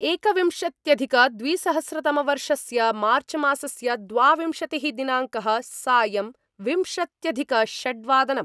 एकविंशत्यधिकद्विसहस्रतमवर्षस्य मार्च्मासस्य द्वाविंशतिः दिनाङ्कः सायम् विंशत्यधिकषड्वादनम्